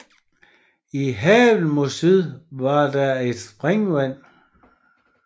I haven mod syd var der et springvand